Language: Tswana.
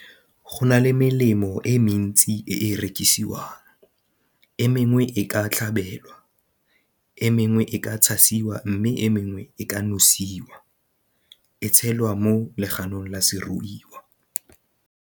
Go na le melemo e mentsi e e rekisiwang e mengwe e ka tlhabelwa, e mengwe e ka tshasiwa mme e mengwe e ka nosiwa e tshelwa mo leganong la seruiwa.